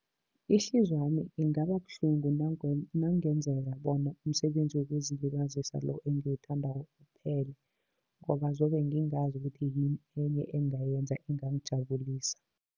Ihliziyo yami ingaba buhlungu nakungenzeka bona, umsebenzi wokuzilibazisa lo engiwuthandako uphele, ngoba zobe ngingazi ukuthi yini enye engingayenza engangijabulisa.